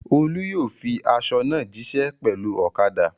Olú yóò fin aṣọ náà jíṣẹ́ pẹ̀lú ọ̀kadà.